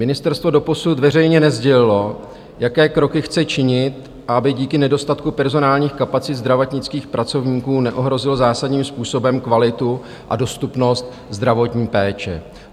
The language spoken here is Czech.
Ministerstvo doposud veřejně nesdělilo, jaké kroky chce činit, aby díky nedostatku personálních kapacit zdravotnických pracovníků neohrozilo zásadním způsobem kvalitu a dostupnost zdravotní péče.